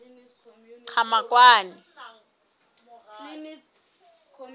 qhamakwane